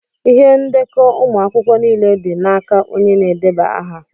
Ihe ndekọ ụmụ akwụkwọ niile dị naka onye na-edeba aha.